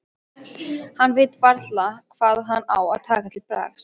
Hann veit varla hvað hann á að taka til bragðs.